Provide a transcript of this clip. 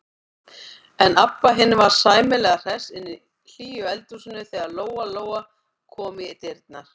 En Abba hin var sæmilega hress inni í hlýju eldhúsinu þegar Lóa-Lóa kom í dyrnar.